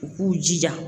U k'u jija